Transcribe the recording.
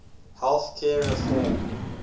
health care reform